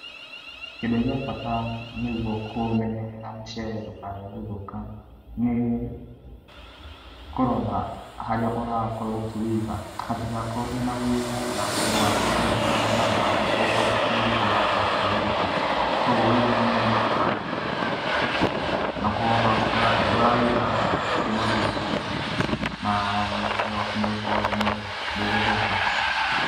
Kĩndũ gĩa bata nĩgúo kũũmenyerera mũcere ndũkae guthũka nĩ kũrora haria ũrakorwo ũkĩwĩiga, hatigakorwo hena wĩigũ na ndũgakorwo ũgĩkorana na mai, okorwo ti kũruga ũrakorwo ukĩũruga, kogwo wĩige hanene na mai, na ũkorwo ũrawĩiga handũ hatarĩ na wĩigũ, na mũcere wakũ nĩ ũgũkorwo wĩ mwega, ndũgũthũka.